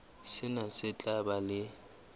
sena se tla ba le